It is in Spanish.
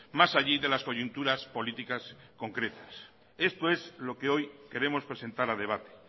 más allí de las coyunturas políticas concretas esto es lo que hoy queremos presentar a debate